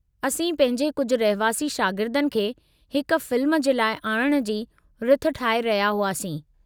असीं पंहिंजे कुझु रहिवासी शागिर्दनि खे हिक फ़िल्म जे लाइ आणणु जी रिथ ठाहे रहिया हुआसीं।